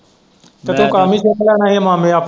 ਤੇ ਤੂੰ ਕੰਮ ਹੀ ਸਿੱਖ ਲੈ ਨਹੀਂ ਤੇ ਮਾਮੇ ਆਪ .